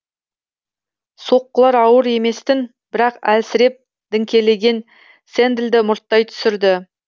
соққылар ауыр емес тін бірақ әлсіреп діңкелеген сэндлді мұрттай түсірді